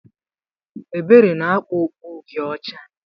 Ebere na-akpa okpu Uhie ọcha.